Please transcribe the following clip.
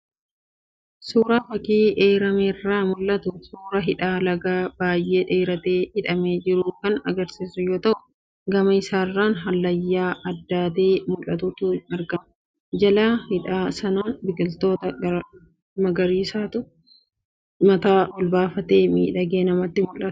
Suuraan fakii eerame irraa mul'atu, suuraa hidha lagaa baay'ee dheeratee hidhamee jiruu kan argisiisu yoo ta'u, gama isaarraan hallayyaa addaatee mul'atutu argama. Jala hidha sanaan biqiltoota magariisatu mataa ol baafatee miidhagee namatti mul'ata.